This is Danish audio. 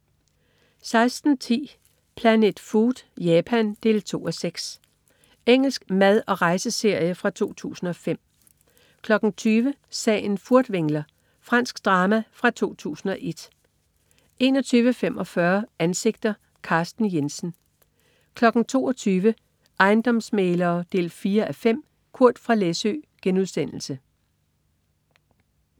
16.10 Planet Food: Japan. 2:6 Engelsk mad/rejseserie fra 2005 20.00 Sagen Furtwängler. Fransk drama fra 2001 21.45 Ansigter: Carsten Jensen 22.00 Ejendomsmæglere 4:5. Kurt fra Læsø*